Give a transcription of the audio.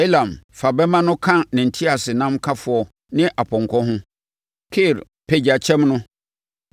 Elam fa bɛmma no ka ne nteaseɛnamkafoɔ ne apɔnkɔ ho; Kir pagya kyɛm no.